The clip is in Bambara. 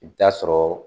I bɛ taa sɔrɔ